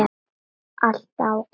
Allt ágætt.